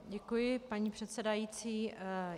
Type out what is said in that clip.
Děkuji, paní předsedající.